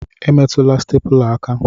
Emetụla stepula aka!